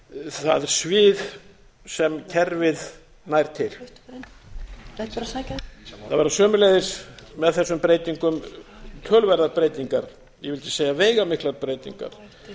það svið sem kerfið nær til það verða sömuleiðis með þessum breytingum töluverðar breytingar ég vildi segja veigamiklar breytingar